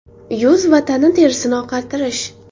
Yuz va tana terisini oqartirish.